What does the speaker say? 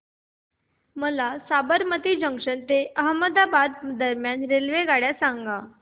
मला साबरमती जंक्शन ते अहमदाबाद दरम्यान रेल्वेगाड्या सांगा